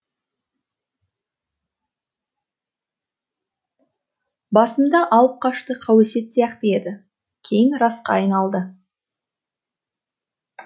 басында алыпқашты қауесет сияқты еді кейін расқа айналды